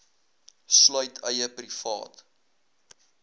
sluit eie privaat